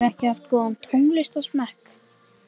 Hann hefur ekki haft góðan tónlistarsmekk